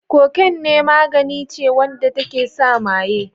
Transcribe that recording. Cocaine magani ce wanda take sa maye.